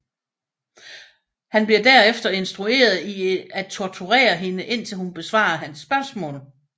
Han bliver derefter instrueret i en torturere hende indtil hun besvarer hans spørgsmål